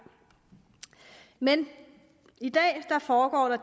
men i dag foregår der